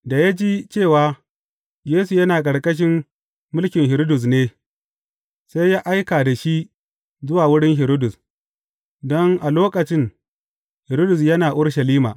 Da ya ji cewa, Yesu yana ƙarƙashin mulkin Hiridus ne, sai ya aika da shi zuwa wurin Hiridus, don a lokacin Hiridus yana Urushalima.